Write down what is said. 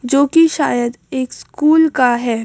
जो कि शायद एक स्कूल का है।